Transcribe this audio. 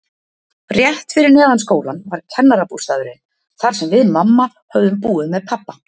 Rétt fyrir neðan skólann var kennarabústaðurinn, þar sem við mamma höfðum búið með pabba.